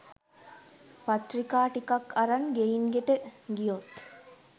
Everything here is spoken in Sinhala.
පත්‍රිකා ටිකක් අරන් ගෙයින් ගෙට ගියොත්